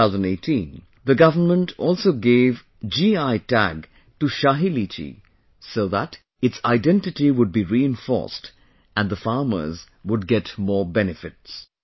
In 2018, the Government also gave GI Tag to Shahi Litchi so that its identity would be reinforced and the farmers would get more benefits